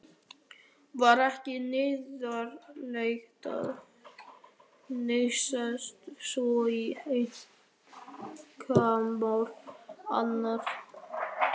Var ekki neyðarlegt að hnýsast svona í einkamál annarra?